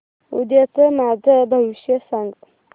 उद्याचं माझं भविष्य सांग